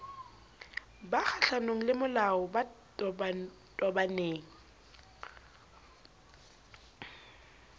ba kgohlanong lemolao ba tobaneng